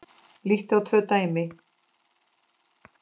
Lítum á tvö dæmi.